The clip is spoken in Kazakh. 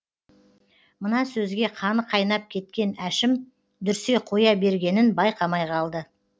мына сөзге қаны қайнап кеткен әшім дүрсе қоя бергенін байқамай қалды